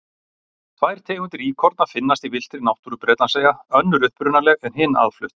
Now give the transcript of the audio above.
Tvær tegundir íkorna finnast í villtri náttúru Bretlandseyja, önnur upprunaleg en hin aðflutt.